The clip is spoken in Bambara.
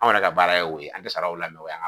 Anw yɛrɛ ka baara ye o ye an tɛ sara o la